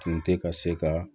Tun tɛ ka se ka